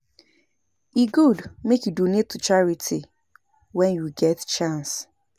E good make you donate to charity when you get chance